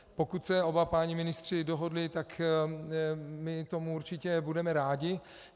Pokud se oba páni ministři dohodli, tak my tomu určitě budeme rádi.